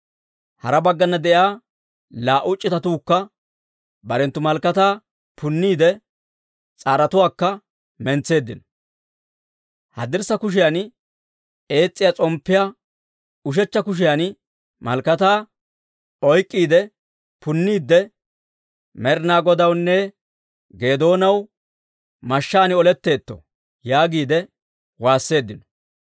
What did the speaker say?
Hara baggana de'iyaa laa"u c'itatuukka barenttu malakataa punniide, s'aarotuwaakka mentseeddino; haddirssa kushiyan ees's'iyaa s'omppiyaa, ushechcha kushiyan malakataa oyk'k'iide punniidde, «Med'inaa Godawunne Geedoonaw mashshaan oletteetto!» yaagiide waasseeddino.